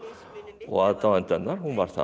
og aðdáanda hennar hún var það